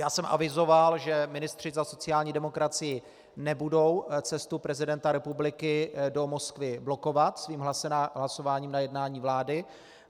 Já jsem avizoval, že ministři za sociální demokracii nebudou cestu prezidenta republiky do Moskvy blokovat svým hlasováním na jednání vlády.